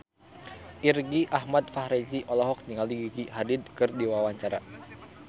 Irgi Ahmad Fahrezi olohok ningali Gigi Hadid keur diwawancara